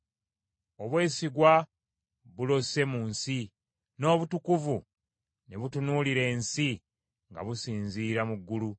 Obwesigwa bulose mu nsi, n’obutukuvu ne butunuulira ensi nga businzira mu ggulu.